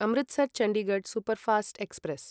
Amritsar Chandigarh superfast express